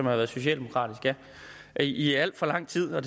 været socialdemokratisk ja i alt for lang tid og